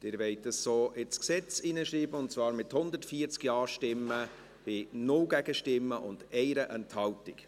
Sie wollen dies so ins Gesetz hineinschreiben, und zwar mit 140 Ja-Stimmen bei 0 Gegenstimmen und 1 Enthaltung.